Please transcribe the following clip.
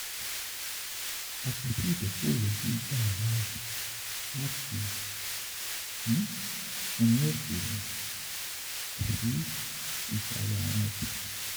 Apoti idokowo yii gba ọ laaye lati “sun” ni oke tabi isalẹ awọn ọja.